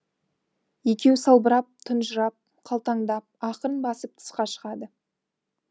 екеуі салбырап тұнжырап қалтаңдап ақырын басып тысқа шығады